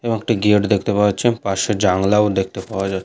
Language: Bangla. এবং একটি গেট দেখতে পাওয়া যাচ্ছে পাশে জানলাও দেখতে পাওয়া যা --